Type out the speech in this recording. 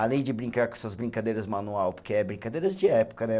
Além de brincar com essas brincadeiras manual, porque é brincadeiras de época, né?